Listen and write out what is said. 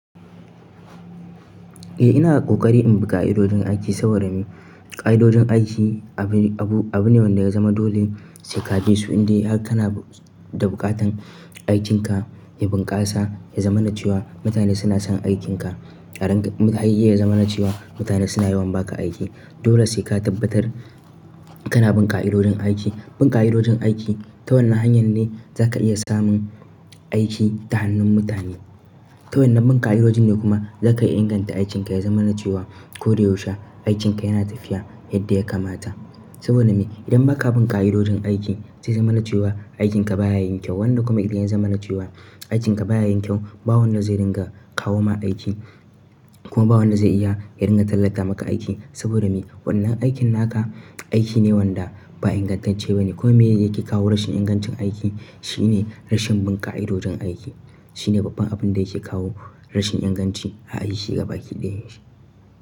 Eh ina ƙoƙari in bi ƙai'idojin aiki saboda me? Ƙai'idojin aiki abu abu ne wanda ya zama dole sai ka bisu indai har kana da buƙatan aikinka ya bunƙasa ya zama na cewa mutane suna son aikinka. Har ya zamana cewa mutane suna yawan ba ka aiki. Dole sai ka tabbatar kana bin ƙai'idojin aiki. Bin ƙai'idojin aiki ta wannan hanyar ne za ka iya samun aiki ta hannun mutane. Ta wannan bun ƙai'idojin ne kuma za ka iya inganta aikinka ya zama na cewa ko da yaushe aikinka yana tafiya yadda ya kamata. Saboda me? Idan ba ka bun ƙai'idojin aiki zai zamana cewa aikinka baya yin kyau. Wanda kuma idan ya zama na cewa aikinka baya yin kyau ba wanda zai ringa kawo ma aiki kuma ba wanda zai iya ringa tallata maka aiki. Saboda me? Wannan aikin naka aiki ne wanda ba ingantacce ba ne. Kuma me yake kawo rashin ingancin aiki shine rashin bin ƙai'idojin aiki. Shine babban abun da yake kawo rashin inganci a aiki gabaki ɗaya.